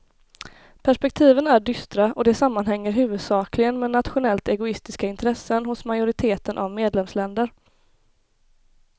Perspektiven är dystra och det sammanhänger huvudsakligen med nationellt egoistiska intressen hos majoriteten av medlemsländer.